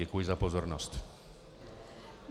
Děkuji za pozornost.